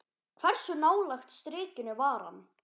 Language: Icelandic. Hversu nálægt strikinu var hann?